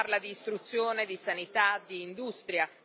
Si parla di istruzione, di sanità, di industria.